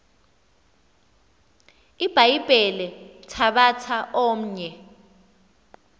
ibhayibhile thabatha omnye